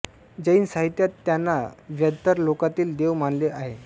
जैन साहित्यात त्यांना व्यंतर लोकातील देव मानले आहे